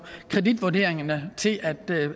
kreditvurderingerne til